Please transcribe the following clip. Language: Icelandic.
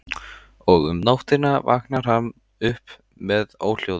Og um nóttina vaknar hann upp með óhljóðum.